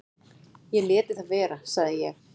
"""Ég léti það vera, sagði ég."""